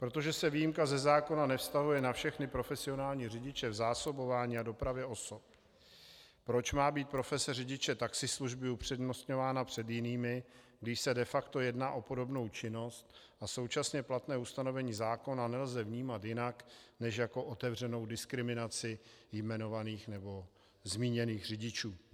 Protože se výjimka ze zákona nevztahuje na všechny profesionální řidiče v zásobování a dopravě osob, proč má být profese řidiče taxislužby upřednostňována před jinými, když se de facto jedná o podobnou činnost, a současně platné ustanovení zákona nelze vnímat jinak než jako otevřenou diskriminaci vyjmenovaných nebo zmíněných řidičů?